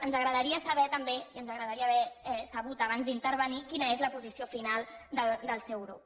ens agradaria saber també i ens agradaria haver sabut abans d’intervenir quina és la posició final del seu grup